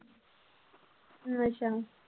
ਅੱਛਾ।